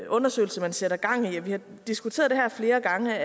undersøgelse man sætter gang i vi har diskuteret det her flere gange